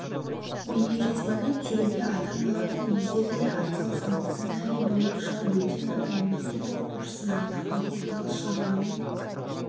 бейне жазбаны түсіруге ата-аналардың өздері де атсалысқан сценарий бойынша бөтен адам мектеп оқушысына тақалып тығыз шаруамен